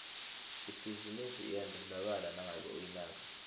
ibhizinisi iyadlondlobala nangabe uyinaka